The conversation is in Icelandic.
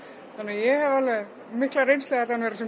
þannig að ég hef alveg mikla reynslu af því að vera